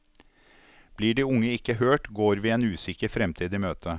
Blir de unge ikke hørt, går vi en usikker fremtid i møte.